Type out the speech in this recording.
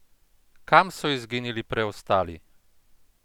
Kam so izginili preostali?